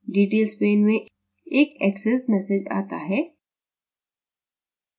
details pane में एक success message आता है